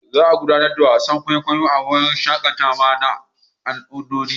Za a gudanar da wasan kwaikwayon a wurin shakatawa na al'adu.